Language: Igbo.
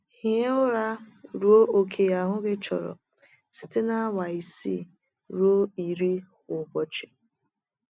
Hie ụra ruo ókè ahụ gị chọrọ — site na awa isii ruo iri kwa ụbọchị.